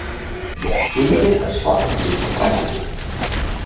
Gylfi er svartsýnn á framhaldið